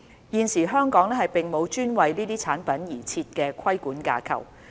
現時香港並無專為這些產品而設的規管架構。